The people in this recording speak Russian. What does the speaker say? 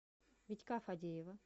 витька фадеева